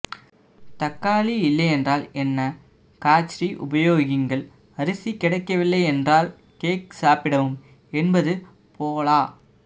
தக்காளி இல்லையென்றல் என்ன காச்ரி உபயோகியுங்கள் அரிசி கிடைக்கவில்லை என்றால் கேக் சாப்பிடவும் என்பது போலா